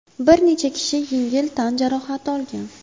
Bir necha kishi yengil tan jarohati olgan.